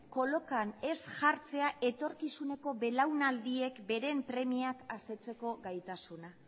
kolokan ez jartzea etorkizuneko belaunaldiek beren premiak asetzeko gaitasuna